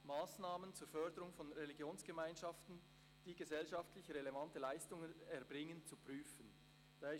«Massnahmen zur Förderung von Religionsgemeinschaften, die gesellschaftlich relevante Leistungen erbringen zu prüfen.